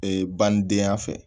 Ee banidenya fɛ